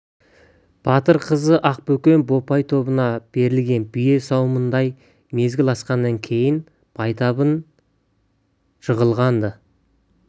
батыр қыз ақбөкен бопай тобына берілген бие сауымындай мезгіл алысқаннан кейін байтабын жығылған-ды